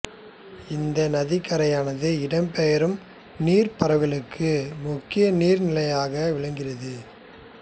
இந்த நதிக் கரையானது இடம்பெயரும் நீர்ப் பறவைகளுக்கு முக்கிய நீர் நிலையாக விளங்குகிறது